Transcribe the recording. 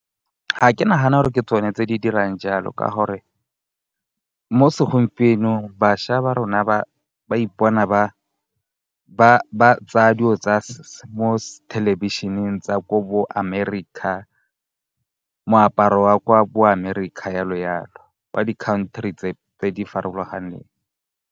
Ga ke nagane gore ke tsone tse di dirang jalo ka gore mo segompienong bašwa ba rona ba ipona ba tsaya dilo tsa mo thelebišeneng tsa ko bo Amerika, moaparo wa kwa bo Amerika jalo-jalo. Ba di-country tse di farologaneng.